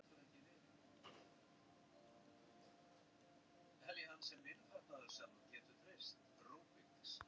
Öll almennileg lífsgæði að tapast.